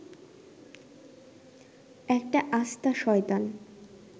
একটা আস্তা শয়তান